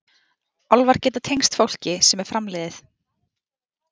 Álfar geta tengst fólki sem er framliðið.